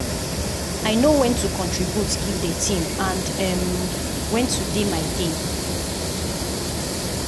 i know when to contribute give the team and um when to dey my dey.